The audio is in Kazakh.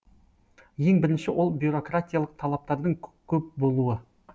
ең бірінші ол бюрократиялық талаптардың көп болуы